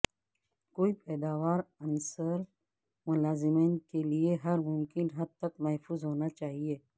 کوئی پیداوار عنصر ملازمین کے لئے ہر ممکن حد تک محفوظ ہونا چاہئے